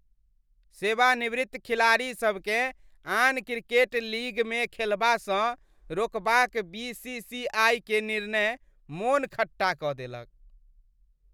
सेवानिवृत्त खिलाड़ीसभकेँ आन क्रिकेट लीगमे खेलबासँ रोकबाक बी. सी. सी. आई. के निर्णय मोन खट्टा कऽ देलक।